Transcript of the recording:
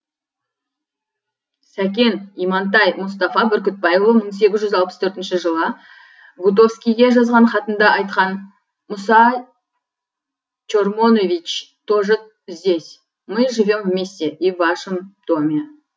сәкен имантай мұстафа бүркітбайұлы мың сегіз жүз алпыс төртінші жылы гутковскийге жазған хатында айтқан мұса чормонович тоже здесь мы живем вместе и в вашем доме